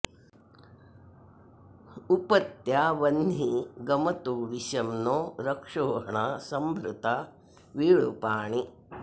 उप त्या वह्नी गमतो विशं नो रक्षोहणा सम्भृता वीळुपाणी